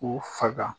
K'u faga